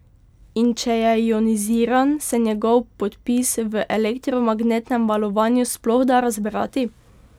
In če je ioniziran, se njegov podpis v elektromagnetnem valovanju sploh da razbrati?